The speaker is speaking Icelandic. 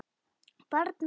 Barn mitt.